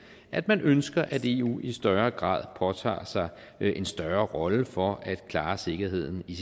at man ønsker at eu i større grad påtager sig en større rolle for at klare sikkerheden i